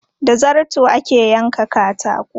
Da zarto ake yankan katako.